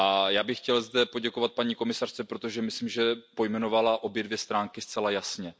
Já bych zde chtěl poděkovat paní komisařce, protože myslím, že pojmenovala obě dvě stránky zcela jasně.